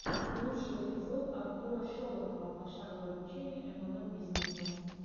лучший эпизод артура шолохова пошаговое обучение млм бизнесу